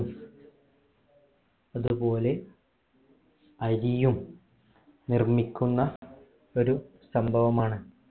അതുപോലെ അരിയും നിർമ്മിക്കുന്ന ഒരു സംഭവമാണ്